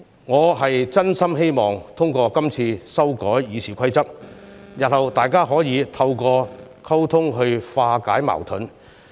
我真心希望通過今次修改《議事規則》，日後大家可以透過溝通化解矛盾。